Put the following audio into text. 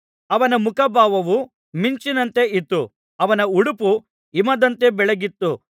ಅವನ ಮುಖಭಾವವು ಮಿಂಚಿನಂತೆ ಇತ್ತು ಅವನ ಉಡುಪು ಹಿಮದಂತೆ ಬೆಳ್ಳಗಿತ್ತು